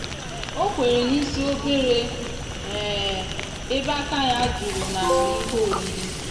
ọ kwere n'isi obere ebe aka ya juru n'akpa ihe oriri.